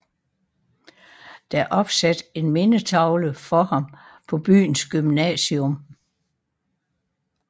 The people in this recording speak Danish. Der er opsat en mindetavle for ham på byens gymnasium